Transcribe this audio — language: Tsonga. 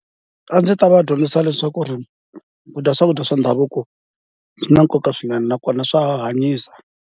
A ndzi ta va dyondzisa leswaku ku dya swakudya swa ndhavuko swi na nkoka swinene nakona swa hanyisa.